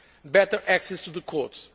rights better access to the